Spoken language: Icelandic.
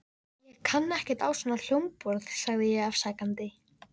Ég kann ekkert á svona hljómborð sagði ég afsakandi.